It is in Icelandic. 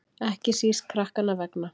Ekki síst krakkanna vegna.